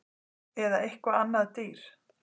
Eða eitthvað annað dýr